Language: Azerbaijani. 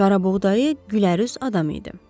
Qarabuğdayı, güləruz adam idi.